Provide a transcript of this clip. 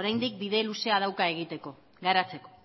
oraindik bide luzea dauka egiteko garatzeko